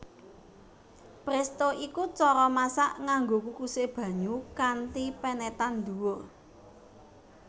Presto iku cara masak nganggo kukusé banyu kanthi penetan dhuwur